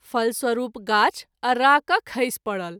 फलस्वरूप गाछ अररा क’ खसि परल।